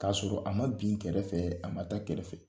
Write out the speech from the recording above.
K'a y'a sɔrɔ a ma bin kɛrɛfɛ a ma taa kɛrɛfɛ